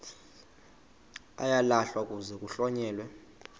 uyalahlwa kuze kuhlonyelwe